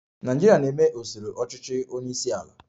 Nigeria na-eme usoro ọchịchị onye isi ala